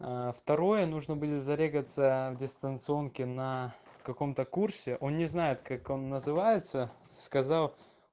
аа второе нужно было зарегаться в дистанционки на каком-то курсе он не знает как он называется сказал